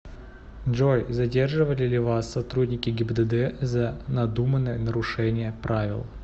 джой задерживали ли вас сотрудники гибдд за надуманное нарушение правил